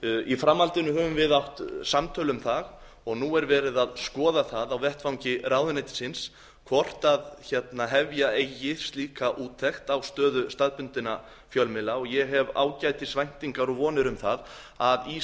í framhaldinu höfum við átt samtöl um það og nú er verið að skoða það á vettvangi ráðuneytisins hvort hefja eigi slíka úttekt á stöðu staðbundinna fjölmiðla og ég hef ágætis væntingar og vonir um það að í